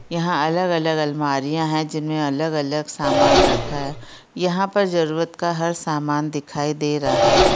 यहां अलग-अलग अल्मारियां हैं जिनमें अलग-अलग समान रखा हैं यहां पर जरूरत का हर समान दिखाई दे रहा हैं।